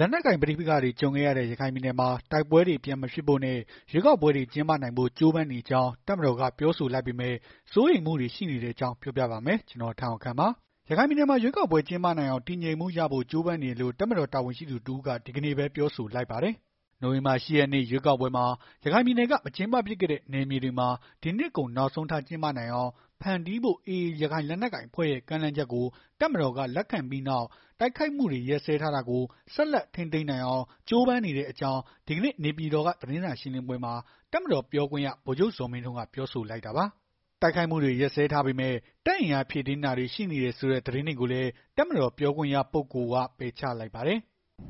လက်နက်ကိုင်ပဋိပက္ခတွေ ကြုံခဲ့ရတဲ့ ရခိုင်ပြည်နယ်မှာ တိုက်ပွဲတွေ ပြန်မဖြစ်ဖို့နဲ့ ရွေးကောက်ပွဲတွေ ကျင်းပနိုင်ဖို့ ကြိုးပမ်းနေကြောင်း တပ်မတော်က ပြောဆိုလိုက်ပေမဲ့ စိုးရိမ်မှုတွေ ရှိနေတဲ့အကြောင်း ပြောပြပါမယ်။ ဗွီအိုအေမြန်မာပိုင်း သတင်းထောက် ကိုထက်အောင်ခန့်က သတင်းပေးပို့ထားပါတယ်။ ရခိုင်ပြည်နယ်မှာ ရွေးကောက်ပွဲ ကျင်းပနိုင်အောင် တည်ငြိမ်မှုရဖို့ ကြိုးပမ်းနေတယ်လို့ တပ်မတော် တာဝန်ရှိသူ တစ်ဦးက ဒီကနေ့ပဲ ပြောဆိုလိုက်ပါတယ်။ နိုဝင်ဘာလ ၈ ရက်နေ့ ရွေးကောက်ပွဲမှာ ရခိုင်ပြည်နယ်က မကျင်းပဖြစ်ခဲ့တဲ့ နယ်မြေတွေမှာ ဒီနှစ်ကုန်နောက်ဆုံးထား ကျင်းပနိုင်အောင် ဖန်တီးဖို့ AA ရခိုင်လက်နက်ကိုင်အဖွဲ့ရဲ့ ကမ်းလှမ်းချက်ကို တပ်မတော်က လက်ခံလိုက်ပြီးနောက် တိုက်ခိုက်မှုတွေ ရပ်စဲထားတာကို ဆက်လက် ထိန်းသိမ်းနိုင်အောင် ကြိုးပမ်းနေတဲ့အကြောင်း ဒီကနေ့ နေပြည်တော်က သတင်းစာရှင်းလင်းပွဲမှာ တပ်မတော် ပြောခွင့်ရ ဗိုလ်ချုပ်ဇော်မင်းထွန်းက ပြောဆိုလိုက်တာပါ။ တိုက်ခိုက်မှုတွေ ရပ်စဲထားပေမဲ့ တပ်အင်အားဖြည့်တင်းတာတွေ ရှိနေတယ်ဆိုတဲ့ သတင်းတွေကိုလည်း တပ်မတော်ပြောခွင့်ရပုဂ္ဂိုလ်က ပယ်ချလိုက်ပါတယ်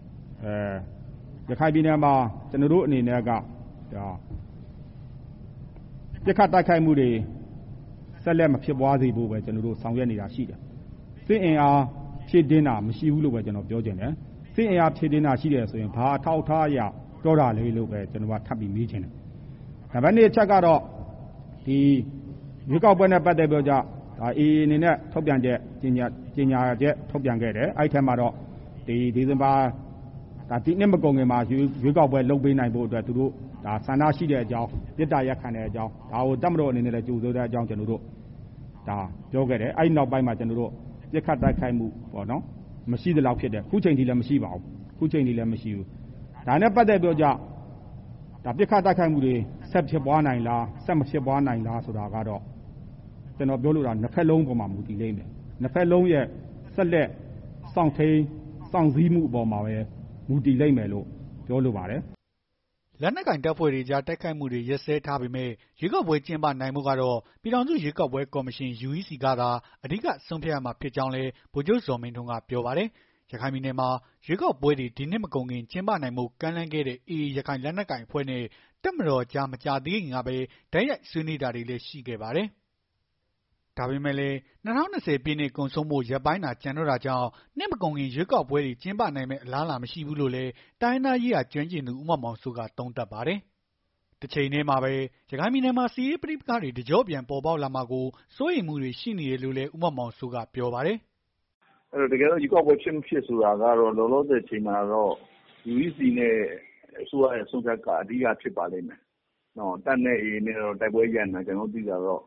။ “ရခိုင်ပြည်နယ်မှာ ကျနော်တို့အနေနဲ့က ပစ်ခတ်တိုက်ခတ်မှုတွေ ဆက်လက်မဖြစ်ပွားအောင် ဆောင်ရွက်နေတာတွေရှိတယ်။ စစ်အင်အား ဖြည့်တင်းတာမရှိဘူးလို့ပဲ ကျနော်ပြောချင်တယ်။ စစ်အင်အား ဖြည့်တင်းတာရှိတယ်ဆိုရင် ဘာအထောက်အထားအရ ဖြည့်တင်းတာရှိလို့ ပြောတာလည်းဆိုတာကို ကျနော်က ထပ်ပြီး မေးချင်တယ်။ နံပါတ် ၂ အချက်အနေနဲ့ ရွေးကောက်ပွဲနဲ့ ပတ်သက်ပြီးတော့ အေအေအနေနဲ့ ထုတ်ပြန်ချက် ကြေငြာချက် ထုတ်ပြန်ခဲ့တယ်။ ထုတ်ပြန်ချက်ထဲမှာ ဒီနှစ်မကုန်ခင်မှာ ရွေးကောက်ပွဲ လုပ်ပေးနိုင်ဖို့ ဆန္ဒရှိတဲ့အကြောင်း မေတ္တာရပ်ခံတဲ့အကြောင်း ဒါကို တပ်မတော်အနေနဲ့ ကြိုဆိုတဲ့ အကြောင်းပြောခဲ့တယ်။ အဲဒီနောက်ပိုင်း ပစ်ခတ်တိုက်ခိုက်မှု မရှိသလောက်ဖြစ်တယ်။ အခုချိန်ထိလည်း မရှိပါဘူး။ ဒါနဲ့ပတ်သက်ပြီးတော့ ပစ်ခတ် တိုက်ခိုက်မှုတွေ ဆက်ဖြစ်ပွားနိုင်လား ဆက်မဖြစ်ပွားနိုင်လားဆိုတာကတော့ ကျနော်ပြောလိုတာက ၂ ဘက်လုံးအပေါ်မှာ မူတည်လိမ့်မယ်၊ ၂ ဘက်လုံးရဲ့ ဆက်လက် စောင့်ထိန်း၊ စောင့်ဆည်းမှုအပေါ်မှာပဲ မူတည်လိမ့်မယ်လိုပဲ ပြောချင်တယ်။” လက်နက်ကိုင် တပ်ဖွဲ့တွေကြား တိုက်ခိုက်မှုတွေ ရပ်စဲထားပေမဲ့ ရွေးကောက်ပွဲ ကျင်းပနိုင်ဖို့ကတော့ ပြည်ထောင်စု ရွေးကောက်ပွဲကော်မရှင် (UEC) ကသာ အဓိက ဆုံးဖြတ်ရမှာ ဖြစ်ကြောင်းလည်း ဗိုလ်ချုပ်ဇော်မင်းထွန်းကပြောပါတယ်။ ရခိုင်ပြည်နယ်မှာ ရွေးကောက်ပွဲတွေ ဒီနှစ်မကုန်ခင် ကျင်းပနိုင်ဖို့ ကမ်းလှမ်းခဲ့တဲ့ AA ရခိုင်လက်နက်ကိုင်အဖွဲ့နဲ့ တပ်မတော်ကြား မကြာသေးခင်ကပဲ တိုက်ရိုက်ဆွေးနွေးတာတွေလည်း ရှိခဲ့ပါတယ်။ ဒါပေမဲ့လည်း ၂၀၂၀ ပြည့်နှစ် ကုန်ဆုံးဖို့ ရက်ပိုင်းသာ ကျန်တော့တာကြောင့် နှစ်မကုန်ခင် ရွေးကောက်ပွဲတွေ ပြန်ကျင်းပနိုင်မယ့် အလားအလာ မရှိဘူးလို့လည်း တိုင်းရင်းသားရေးရာ ကျွမ်းကျင်သူ ဦးမောင်မောင်စိုးက သုံးသပ်ပါတယ်။ တချိန်တည်းမှာပဲ ရခိုင်ပြည်နယ်မှာ စစ်ရေးပဋိပက္ခတွေ တကျော့ပြန် ပေါ်ပေါက်လာမှာကို စိုးရိမ်မှုတွေ ရှိနေတယ်လို့ ဦးမောင်မောင်စိုးက ပြောပါတယ်။ “ရွေးကောက်ပွဲဖြစ်၊ မဖြစ်ဆိုတော့ကတော့ လောလောဆယ်အချိန်မှာတော့ UEC နဲ့ အစိုးရရဲ့ဆုံးဖြတ်ချက်က အဓိက ဖြစ်ပါလိမ့်မယ်။ တပ်နဲ့ အေအေ တိုက်ပွဲရပ်နေတာတော့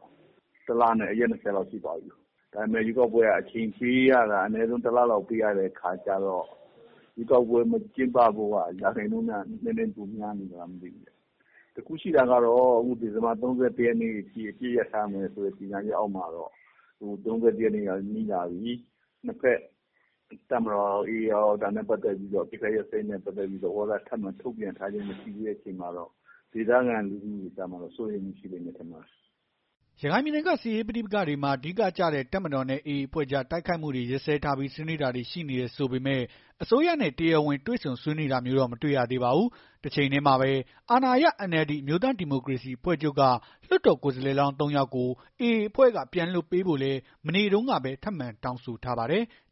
၁ လနဲ့ ရက် ၂၀ လောက်ရှိသွားပြီ။ ဒါပေမဲ့ ရွေးကောက်ပွဲက အချိန်ပေးရတာက ၁ လလောက် အချိန်ပေးရတဲ့အခါကျတော့ ရွေးကောက်ပွဲ မကျင်းပဖို့က ရာခိုင်နှုန်းနည်းနည်းပို များနေသလားပေါ့။ တခုရှိတာက ဒီဇင်ဘာ ၃၁ ရက်ထိ အပစ်ရပ်ထားမယ်ဆိုတဲ့ ကြေငြာချက်အောက်မှာတော့ ၂ ဘက် တပ်မတော်ကရော၊ AA ကရော ဒါနဲ့ပတ်သက်ပြီး အပစ်ခတ်ရပ်စဲရေး သဘောထား ထပ်မံထုတ်ပြန်ထားခြင်းမရှိတာကတော့ ဒေသခံလူထုကတော့ စိုးရိမ်နေကြတယ်။” ရခိုင်ပြည်နယ်က စစ်ရေးပဋိပက္ခတွေမှာ အဓိကကျတဲ့ တပ်မတော်နဲ့ AA အဖွဲ့ကြား တိုက်ခိုက်မှုတွေရပ်စဲထားပြီး ဆွေးနွေးတာတွေလည်း ရှိနေတယ် ဆိုပေမဲ့ အစိုးရနဲ့ တရားဝင်တွေ့ဆုံဆွေးနွေးတာမျိုးတော့ မတွေ့ရသေးပါဘူး။ တချိန်တည်းမှာပဲ အာဏာရ NLD အမျိုးသားဒီမိုကရေစီ အဖွဲ့ချုပ်က လွှတ်တော်ကိုယ်စားလှယ်လောင်း ၃ ယောက်ကို AA အဖွဲ့က ပြန်လွှတ်ပေးဖို့လည်း မနေ့တုန်းကပဲ ထပ်မံတောင်းဆိုထားပါတယ်။